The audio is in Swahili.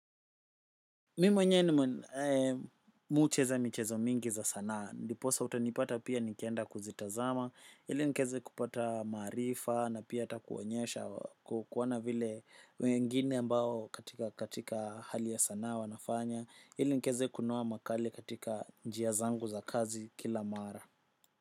Mimi mwenye ni mucheza michezo mingi za sanaa. Ndiposa utanipata pia nikienda kuzitazama, ili nkeze kupata marifa na pia ata kuwonyesha kuwona vile wengine ambao katika hali ya sanaa wanafanya, ili nkeze kunoa makali katika njia zangu za kazi kila mara.